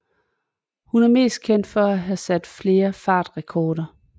Hun er mest kendt for at have sat flere fartrekorder